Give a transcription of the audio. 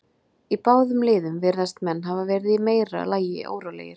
Í báðum liðum virðast menn hafa verið í meira lagi órólegir.